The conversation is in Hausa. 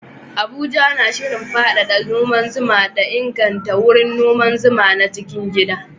Abuja na shirin faɗaɗa noman zuma da inganta wurin noman zuman na cikin gida